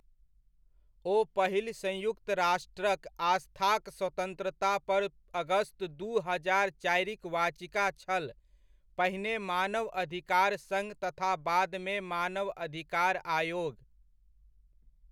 ओ पहिल सयुंक्त राष्ट्रक आस्थाक स्वतन्त्रता पर अगस्त दू हजार चारिक वाचिका छल पहिने मानवअधिकार संघ तथा बादमे मानवअधिकार आयोग।